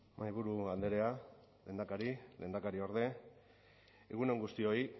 mahaiburu andrea lehendakari lehendakariorde egun on guztioi